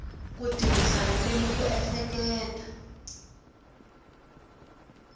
ku tirhisa ririmi ku ehleketa